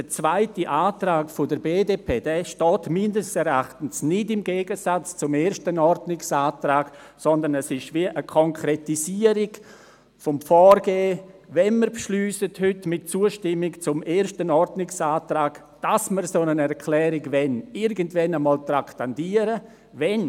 Der zweite Antrag der BDP steht meines Erachtens nicht im Gegensatz zum ersten Ordnungsantrag, sondern ist eine Art Konkretisierung bezüglich des Vorgehens, wenn wir mit Zustimmung zum ersten Ordnungsantrag beschliessen, dass wir eine solche Erklärung wollen, dass diese irgendwann traktandiert wird.